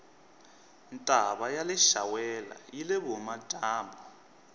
ntava yaleshawela yile vuhhumajambu